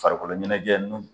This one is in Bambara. Farikolo ɲɛnajɛ